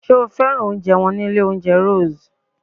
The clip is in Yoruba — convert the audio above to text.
Sé o fẹ́ràn oúnjẹ wọn ní ilé oúnjẹ Rose?